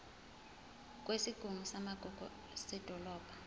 kwesigungu samagugu sedolobha